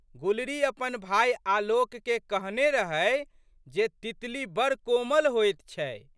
गुलरी अपन भाय आलोकके कहने रहै जे तितली बड़ कोमल होइत छै।